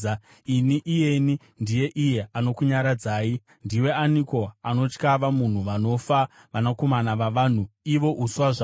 “Ini, iyeni, ndini iye anokunyaradzai. Ndiwe aniko unotya vanhu vanofa, vanakomana vavanhu, ivo uswa zvahwo,